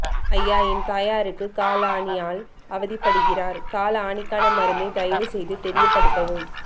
அய்யா என் தாயாருக்கு கால் ஆணியால் அவதிப்படுகிறார் கால் ஆணிக்கான மருந்தை தயவு செய்து தெரிய படுத்தவும்